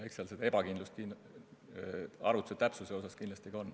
Eks seal seda ebakindlust arvutuse täpsuse osas kindlasti ole.